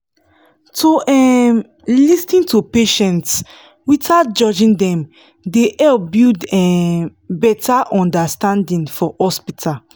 to um lis ten to patients without judging dem dey help build um better understanding for hospital